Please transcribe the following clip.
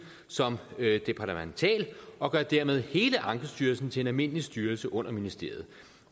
som departemental og gør dermed hele ankestyrelsen til en almindelig styrelse under ministeriet